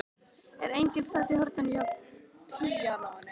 En enginn sat í horninu hjá píanóinu.